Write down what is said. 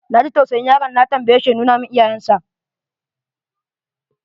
Na ji tausayin yaron, na tambaye shi ya nuna mun iyayensa.